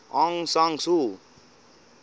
aung san suu